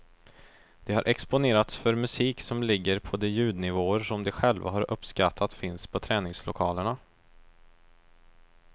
De har exponerats för musik som ligger på de ljudnivåer som de själva har uppskattat finns på träningslokalerna.